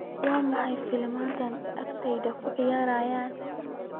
maxaa filimada agteyda ku ciyaaraya